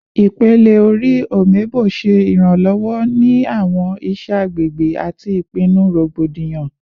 Ipele-ori "Omebo" ṣe iranlọwọ ni awọn iṣẹ agbegbe ati ipinnu rogbodiyan